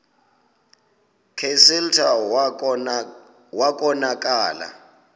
kclta wa konakala